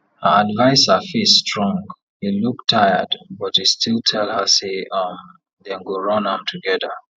her adviser face strong e look tired but e still tell her say um dem go run am together